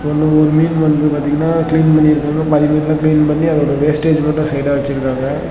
ரெண்டு மூணு மீன் வந்து பாத்தீங்னா கிளீன் பண்ணி இருக்காங்க பாதி மீன்லா கிளீன் பண்ணி அதோட வேஸ்டேஜ் மட்டும் சைடா வெச்சுருக்காங்க.